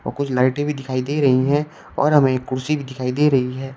और कुछ लाइटे भी दिखाई दे रही है और हमें कुर्सी भी दिखाई दे रही है।